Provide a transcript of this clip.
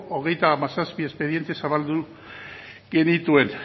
hogeita hamazazpi espediente zabaldu genituen